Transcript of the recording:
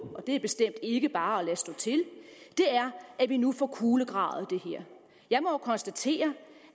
og det er bestemt ikke bare at lade stå til er at vi nu får kulegravet det her jeg må jo konstatere